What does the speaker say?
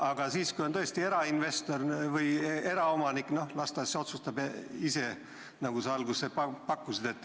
Aga kui on tõesti erainvestor või eraomanik, siis las ta otsustab ise, nagu sa pakkusid.